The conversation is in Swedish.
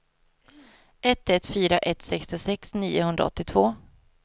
ett ett fyra ett sextiosex niohundraåttiotvå